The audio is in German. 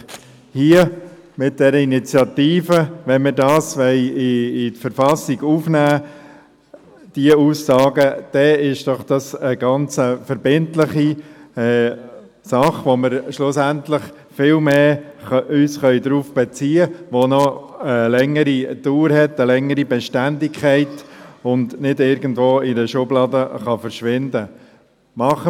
Wenn wir diese Aussagen in die Verfassung aufnehmen, entsteht eine verbindliche Sache, auf die wir uns viel stärker beziehen können, die länger Bestand hat und die nicht in einer Schublade verschwinden kann.